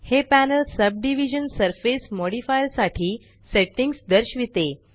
हे panel subdivision surface modifier साठी settings दर्शविते